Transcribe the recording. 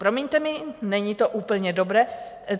Promiňte mi, není to úplně dobré.